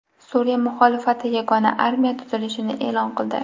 Suriya muxolifati yagona armiya tuzilishini e’lon qildi.